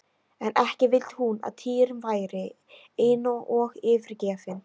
En ekki vildi hún að Týri væri einn og yfirgefinn!